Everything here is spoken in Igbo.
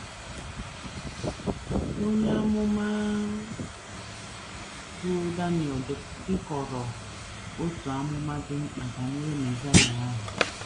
Onye amụma bụ́ Daniel dekọrọ otu amụma dị mkpa banyere Mesaịa ahụ.